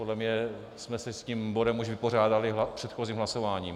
Podle mě jsme se s tím bodem už vypořádali předchozím hlasováním.